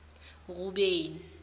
rubeni